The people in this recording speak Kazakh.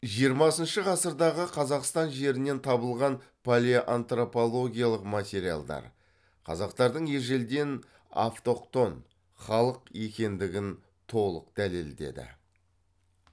жиырмасыншы ғасырдағы қазақстан жерінен табылған палеоантропологиялық материалдар қазақтардың ежелден автохтон халық екендігін толық дәлелдеді